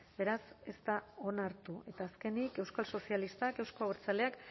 beraz ez da onartu eta azkenik euskal sozialistak euzko abertzaleak